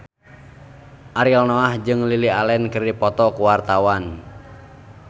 Ariel Noah jeung Lily Allen keur dipoto ku wartawan